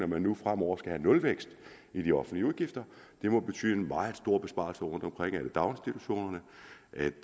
man nu fremover skal have nulvækst i de offentlige udgifter det må betyde meget store besparelser rundtomkring er det i daginstitutionerne